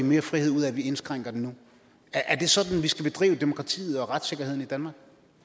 mere frihed ud af at vi indskrænker den nu er det sådan vi skal bedrive demokratiet og retssikkerheden i danmark